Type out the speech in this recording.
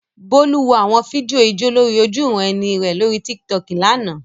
Bolu wo àwọn fídíò ijó lórí ojúuran-ẹni rẹ̀ lórí Tiktok lánàá.